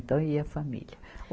Então ia a família.